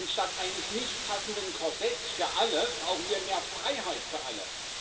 Statt eines nicht passenden Korsetts für alle brauchen wir mehr Freiheit für alle.